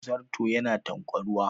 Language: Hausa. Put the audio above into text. Zarto yana tanƙwaruwa